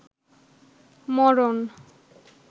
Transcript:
মরন